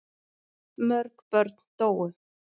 Mörg börn dóu.